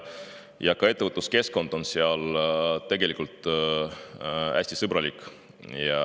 Ka ettevõtluskeskkond on seal hästi sõbralik.